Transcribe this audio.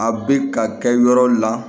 A bɛ ka kɛ yɔrɔ la